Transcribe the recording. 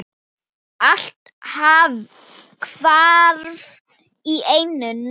Allt hvarf á einni nóttu.